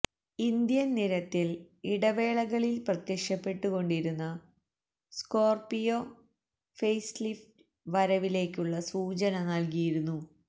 Indian നിരത്തില് ഇടവേളകളില് പ്രത്യക്ഷപ്പെട്ടു കൊണ്ടിരുന്ന സ്കോര്പിയോ ഫെയ്സ്ലിഫ്റ്റ് വരവിലേക്കുള്ള സൂചന നല്കിയിരുന്നു